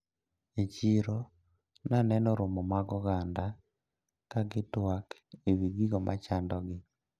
E chiro naneno romo mag oganda kagitwak ewi gigo machandogi.